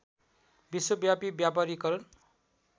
विश्वव्यापी व्यापारीकरण